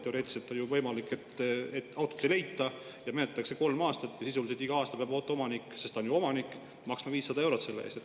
Teoreetiliselt on ju võimalik, et autot ei leita ja menetletakse kolm aastat ja iga aasta peab auto omanik, sest ta on ju omanik, maksma 500 eurot selle eest.